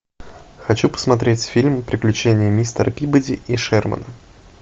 хочу посмотреть фильм приключения мистера пибоди и шермана